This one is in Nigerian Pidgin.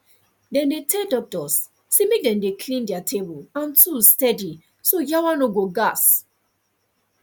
dem dey tell doctors say make dem dey clean their table and tools steady so yawa no go gas